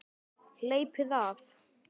Hleypið af!